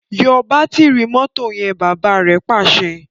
yọ Bátìrì mọ́tò yen! bàbá rẹ Pàṣẹ.